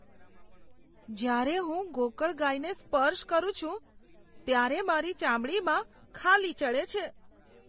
જ્યારે હું ગોકળગાયને સ્પર્શ કરું છું ત્યારે મારી ચામડીમાં ખાલી ચઢે છે.